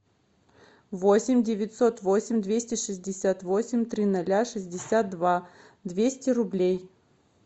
восемь девятьсот восемь двести шестьдесят восемь три ноля шестьдесят два двести рублей